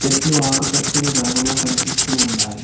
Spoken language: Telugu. చెట్లు ఆకుపచ్చని రంగులో కనిపిస్తూ ఉన్నాయి.